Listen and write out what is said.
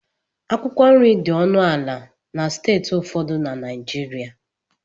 Akwụkwọ nri dị ọnụ ala na steeti ụfọdụ na Naịjirịa